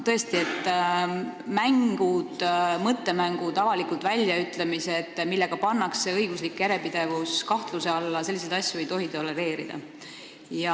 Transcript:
Tõesti, mõttemängud ja avalikud väljaütlemised, millega pannakse õiguslik järjepidevus kahtluse alla – selliseid asju ei tohi tolereerida.